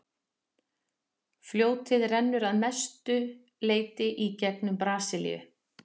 fljótið rennur að mestu leyti í gegnum brasilíu